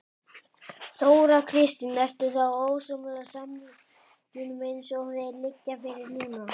Þóra Kristín: Ertu þá ósammála samningunum eins og þeir liggja fyrir núna?